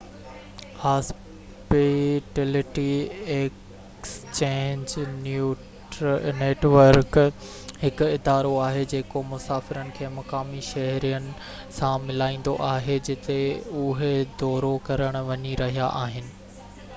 hospitality exchange network هڪ ادارو آهي جيڪو مسافرن کي مقامي شهرين سان ملائيندو آهي جتي اهي دورو ڪرڻ وڃي رهيا آهن